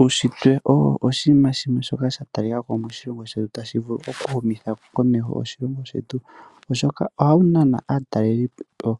Uunshitwe owo oshinima shoka sha talika ko moshilongo shetu shino tashi vulu oku humitha komeho oshilongo shetu. Uunshitwe ohawu nana aatalelipo